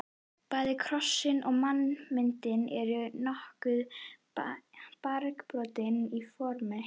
Bæði krossinn og mannsmyndin eru nokkuð margbrotin í formi.